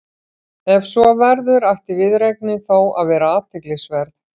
Ef svo verður ætti viðureignin þó að vera athyglisverð.